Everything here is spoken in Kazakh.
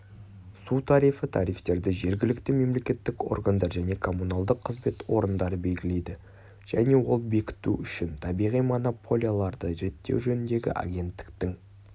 су тарифі тарифтерді жергілікті мемлекеттік органдар және коммуналдық қызмет орындары белгілейді және ол бекіту үшін табиғи монополияларды реттеу жөніндегі агенттіктің